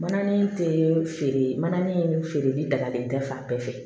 Mananin tɛ feere mana ni feere ni dagalen tɛ fan bɛɛ fɛ